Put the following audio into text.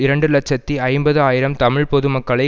இரண்டு இலட்சத்தி ஐம்பது ஆயிரம் தமிழ் பொது மக்களை